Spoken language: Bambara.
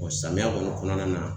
Ɔ samiya kɔni kɔnɔna na